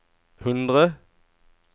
hundre